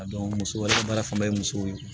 A dɔn muso baara fanba ye musow ye